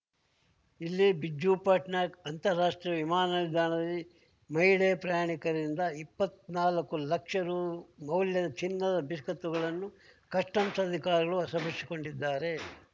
ಇಲ್ಲಿ ಬಿಜುಪಟ್ನಾಯಕ್ ಅಂತರರಾಷ್ಟ್ರೀಯ ವಿಮಾನ ನಿಲ್ದಾಣದಲ್ಲಿ ಮಹಿಳೆ ಪ್ರಯಾಣಿಕರಿಂದ ಇಪ್ಪತ್ನಾಲ್ಕು ಲಕ್ಷ ರೂಮೌಲ್ಯದ ಚಿನ್ನದ ಬಿಸ್ಕತ್‌ಗಳನ್ನು ಕಸ್ಟಮ್ಸ್ ಅಧಿಕಾರಿಗಳು ವಶಪಡಿಸಿಕೊಂಡಿದ್ದಾರೆ